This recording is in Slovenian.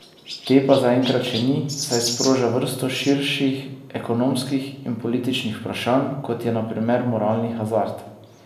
Te pa zaenkrat še ni, saj sproža vrsto širših ekonomskih in političnih vprašanj, kot je na primer moralni hazard.